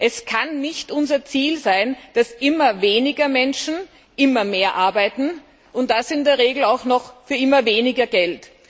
Es kann nicht unser Ziel sein, dass immer weniger Menschen immer mehr arbeiten und das in der Regel für immer weniger Geld.